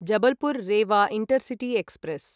Jabalpur Rewa intercity express